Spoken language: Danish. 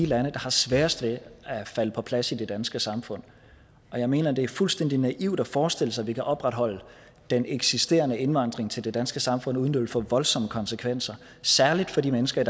der har sværest ved at falde på plads i det danske samfund jeg mener det er fuldstændig naivt at forestille sig at vi kan opretholde den eksisterende indvandring til det danske samfund uden at det vil få voldsomme konsekvenser særlig for de mennesker